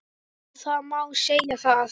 Já það má segja það.